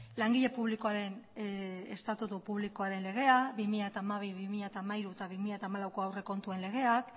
langile publikoaren estatutu publikoaren legea bi mila hamabi bi mila hamairu eta bi mila hamalaueko aurrekontuen legea